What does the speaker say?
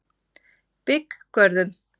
Bygggörðum